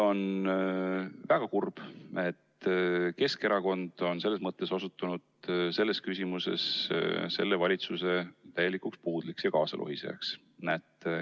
On väga kurb, et Keskerakond on selles mõttes osutunud valitsuse puudliks ja täielikuks kaasalohisejaks.